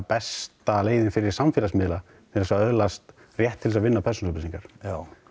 besta leiðin fyrir samfélagsmiðla til þess að öðlast rétt til þess að vinna persónu upplýsingar já